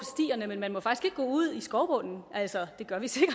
ud i skovbunden altså det gør vi sikkert